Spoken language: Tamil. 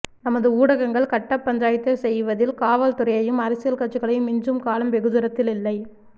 நமது ஊடகங்கள் கட்டப் பஞ்சாயத்து செய்வதில் காவல்துறையையும் அரசியல் கட்சிகளையும் மிஞ்சும் காலம் வெகு தூரத்தில் இல்லை